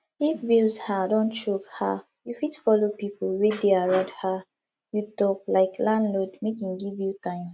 if bills um don choke um you fit follow pipo wey dey around um you talk like landlord make im give you time